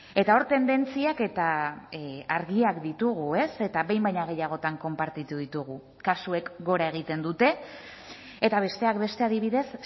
eta hor tendentziak eta argiak ditugu ez eta behin baino gehiagotan konpartitu ditugu kasuek gora egiten dute eta besteak beste adibidez